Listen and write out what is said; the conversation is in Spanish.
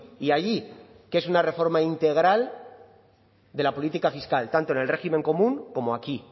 y allí que es una reforma integral de la política fiscal tanto en el régimen común como aquí